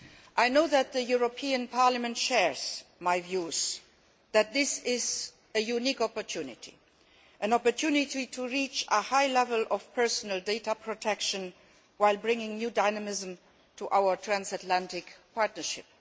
I know that the European Parliament shares my view this is a unique opportunity, an opportunity to reach a high level of personal data protection, while bringing new dynamism to our transatlantic partnership.